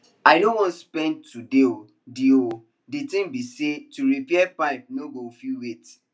i no wan spend today o the o the thing be say to repair pipe no go fit wait